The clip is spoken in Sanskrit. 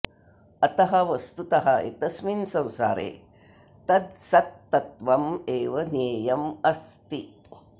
अतः वस्तुतः एतस्मिन् संसारे तद् सत्तत्त्वमेव ज्ञेयम् अस्ति